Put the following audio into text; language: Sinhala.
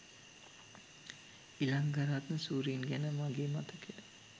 ඉලංගරත්න සූරීන් ගැන මගේ මතකය